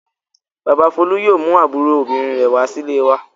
Bàbá Folú yóò mú àbúrò obìnrin rẹ̀ wá sílé wa.